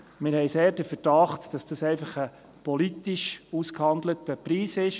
Wir haben sehr den Verdacht, es sei einfach ein politisch ausgehandelter Preis.